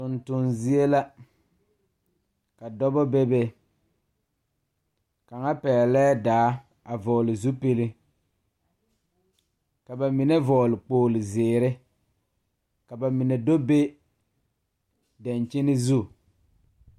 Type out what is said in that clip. Tontonzie la ka dɔba bebe kaŋa pɛglɛɛ daa a vɔgle zupili ka ba mine vɔgle kpoglizeere ka ba mine do be dankyini zu.